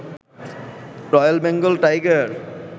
royal Bengal tiger